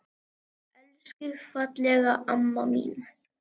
Elsku fallega amma mín.